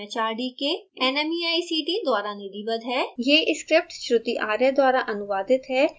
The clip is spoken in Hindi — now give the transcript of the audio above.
spoken tutorial project भारत सरकार के एम एच आर डी के nmeict द्वारा निधिबद्ध है